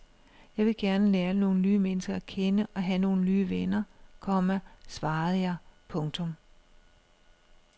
Jeg vil gerne lære nogle nye mennesker at kende og have nogle nye venner, komma svarede jeg. punktum